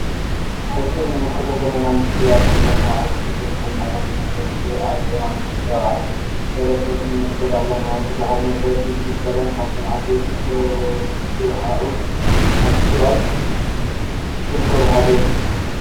እዚ እንምልከቶ ዘልና ምስሊ አብ አብ ከተማ አክሱም ዝርከብ መዕርፎ ነፈርቲ አፂ ዮውሃንስ ራብዓይ ኢርፖርት ንምልከት አለና:: ብዙሓት ነፈርቲ ዝርከባን ካብቶም ዓበይቲ ዝበሃኤኡ አብ ትግራይ ዝርከቡ ሓደ እዩ::